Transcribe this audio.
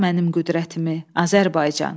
Qaytar mənim qüdrətimi, Azərbaycan!